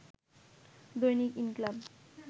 দৈনিক ইনকিলাব